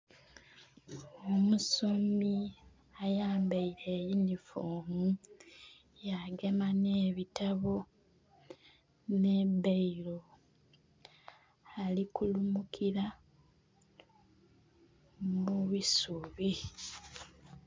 Omusomi ayambaire eyunifoomu yagema n'ebitabo n'ebbeero ali kulumukira mu isubi.